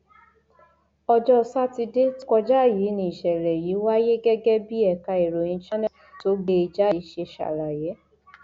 ọjọ sátidé tó kọjá yìí níṣẹlẹ yìí wáyé gẹgẹ bí ẹka ìròyìn channels tó gbé e jáde ṣe ṣàlàyé